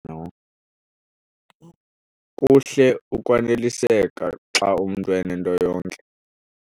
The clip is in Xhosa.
Kuhle ukwaneliseka xa umntu enento yonke.